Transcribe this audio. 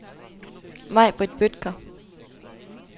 Majbrit Bødker